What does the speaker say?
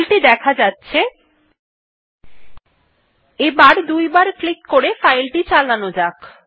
file টি দেখা যাচ্ছে এবার দুইবার ক্লিক করে এটি খোলা যাক